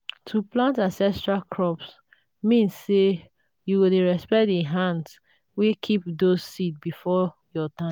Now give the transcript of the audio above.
to plant ancestral crops mean say you dey respect the hands wey keep those seeds before your time.